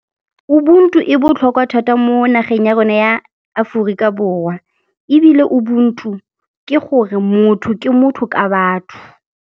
Ubuntu e botlhokwa thata mo nageng ya rona ya Aforika Borwa ebile Ubuntu ke gore motho ke motho ka batho.